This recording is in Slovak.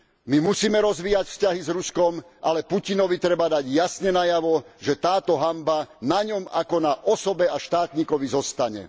My musíme rozvíjať vzťahy z Ruskom, ale Putinovi treba dať jasne najavo, že táto hanba na ňom ako na osobe a štátnikovi zostane.